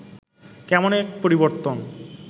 কেমন এক পরিবর্তন